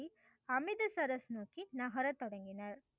அமித சரஸ் நோக்கி நகரத் தொடங்கினர்.